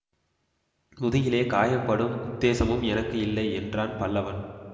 முதுகிலே காயம்படும் உத்தேசமும் எனக்கு இல்லை என்றான் பல்லவன்